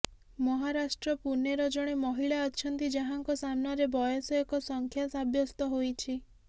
ମହାରାଷ୍ଟ୍ର ପୁନେର ଜଣେ ମହିଳା ଅଛନ୍ତି ଯାହାଙ୍କ ସାମ୍ନାରେ ବୟସ ଏକ ସଂଖ୍ୟା ସାବ୍ୟସ୍ତ ହୋଇଛି